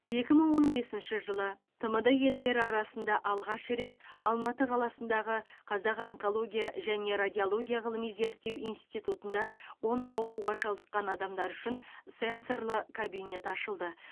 екі мың он бесінші жылы тмд елдері арасында алғаш рет алматы қаласындағы қазақ онкология және радиология ғылыми зерттеу институтында онкоауруға шалдыққан адамдар үшін сенсорлы кабинет ашылды